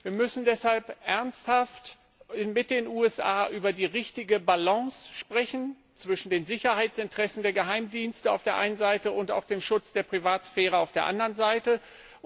Wir müssen deshalb ernsthaft mit den USA über die richtige Balance zwischen den Sicherheitsinteressen der Geheimdienste auf der einen Seite und dem Schutz der Privatsphäre auf der anderen Seite sprechen.